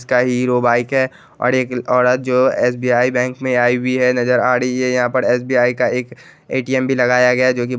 इसका Hero bike है और एक औरत जो एस.बी.आई. में आई हुई है नजर आ रही है यहाँ पर एस.बी.आई. का एक ए.टी.एम. एक भी लगाया गया है जो की --